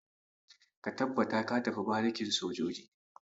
Ka tabbata ka tafi barikin soja!